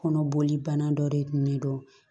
Kɔnɔboli bana dɔ de dun ne do